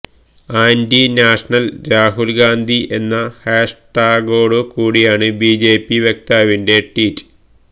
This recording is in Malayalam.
ആന്റി നാഷനൽ രാഹുൽ ഗാന്ധി എന്ന ഹാഷ്ടാഗോടു കൂടിയാണ് ബിജെപി വക്താവിന്റെ ട്വീറ്റ്